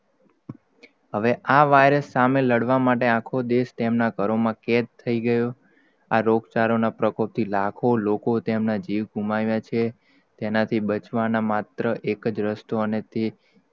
હવે આ virus સામે લડવાનો માટે આખો દેશ, તેમનાં ઘરોમાં કેદ થઈ ગયો, આ રોગચાળો ના પ્રકોપ થી લાખો લોકો તેમને જીવ ઘુમાવ્યા છે? તેના થી બચવા ના માત્ર એક જ રસ્તો, અને તે